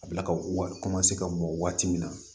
A bila ka wa ka bɔ waati min na